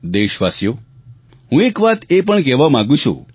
દેશવાસીઓ હું એક વાત એ પણ કહેવા માગું છું